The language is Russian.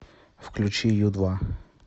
включи ю два